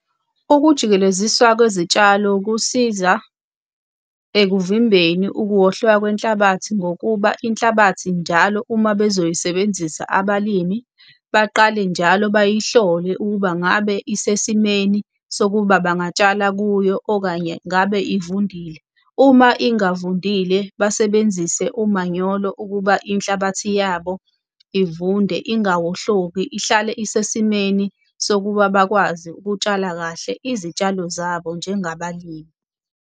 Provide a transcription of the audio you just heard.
Ukujikeleziswa kwezitshalo kusiza ekuvimbeni ukuwohloka kwenhlabathi ngokuba inhlabathi njalo uma bezoyisebenzisa abalimi baqale njalo beyihlole, ukuba ngabe isesimeni sokuba bangatshala kuyo, okanye ngabe ivundile. Uma ingavundile, basebenzise umanyolo ukuba inhlabathi yabo ivunde ingawohloki ihlale isesimeni sokuba bakwazi ukutshala kahle izitshalo zabo njengabalimi.